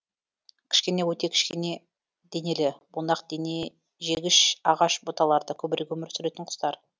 кішкене өте кішкене денелі бунақденежегіш ағаш бұталарда көбірек өмір сүретін құстар